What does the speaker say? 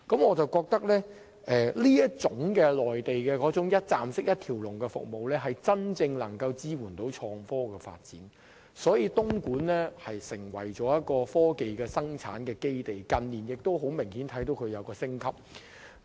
我認為，內地這種"一站式"、"一條龍"的服務，能夠真正支援創科發展，使東莞得以成為科技生產基地，近年更明顯做到產業升級。